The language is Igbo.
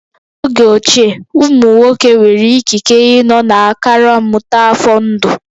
N'oge ochie, ụmụ nwoke nwere ikike ịnọ na akara mmụta afọ ndụ